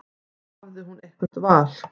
Hafði hún eitthvert val?